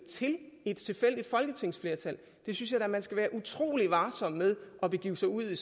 til et tilfældigt folketingsflertal sådan synes jeg da man skal være utrolig varsom med at begive sig ud i